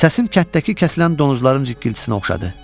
Səsim kənddəki kəsilən donuzların zikiltisinə oxşadı.